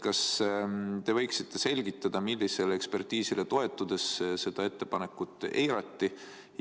Kas te võiksite selgitada, millisele ekspertiisile toetudes seda ettepanekut eirati?